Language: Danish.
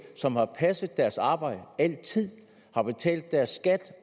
som har passet deres arbejde altid har betalt deres skat